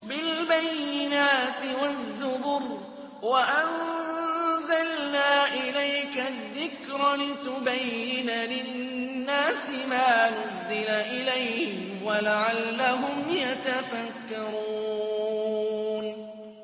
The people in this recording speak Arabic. بِالْبَيِّنَاتِ وَالزُّبُرِ ۗ وَأَنزَلْنَا إِلَيْكَ الذِّكْرَ لِتُبَيِّنَ لِلنَّاسِ مَا نُزِّلَ إِلَيْهِمْ وَلَعَلَّهُمْ يَتَفَكَّرُونَ